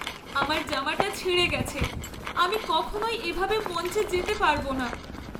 আমার জামাটা ছিঁড়ে গেছে। আমি কখনই এভাবে মঞ্চে যেতে পারব না।